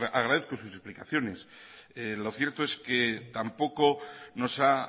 agradezco sus explicaciones lo cierto es que tampoco nos ha